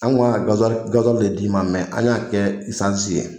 Anw kun kan ka gaziwali de d'i ma, mɛ an y'a kɛ esansi ye!